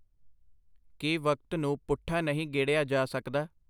ਕੀ ਵਕਤ ਨੂੰ ਪੁੱਠਾ ਨਹੀਂ ਗੇੜਿਆ ਜਾ ਸਕਦਾ.